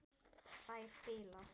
Þær bila.